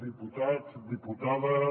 diputats diputades